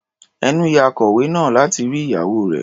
Ẹnú ya akọlwé náà láti rí ìyàwó rẹ̀.